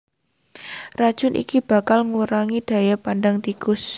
Racun iki bakal ngurangi daya pandang tikus